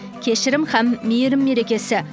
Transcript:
кешірім һәм мейірім мерекесі